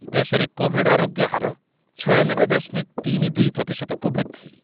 ଦେଶରେ କୋଭିଡ୍ ଆରୋଗ୍ୟ ହାର ଛୟାନବେ ଦଶମକ ତିନି ଦୁଇ ପ୍ରତିଶତକୁ ବୃଦ୍ଧି ।